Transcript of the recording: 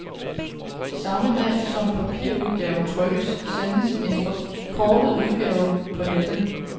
Samme dag som papirudgaven trykkes, sendes en forkortet udgave på nettet.